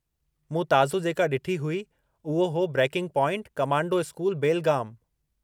मूं ताज़ो जेका ॾिठी हुई, उहो हो 'ब्रेकिंग पॉइंट: कमांडो स्कूल, बेलगाम'